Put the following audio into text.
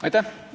Aitäh!